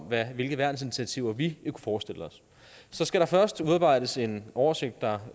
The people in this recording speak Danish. hvilke værnsinitiativer vi kunne forestille os så skal der først udarbejdes en oversigt der